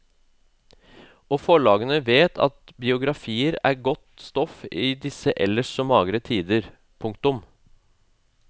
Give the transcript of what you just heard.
Og forlagene vet at biografier er godt stoff i disse ellers så magre tider. punktum